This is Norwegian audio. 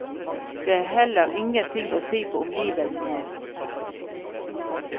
Det er heller ingenting å si på omgivelsene.